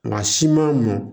Nka siman mɔn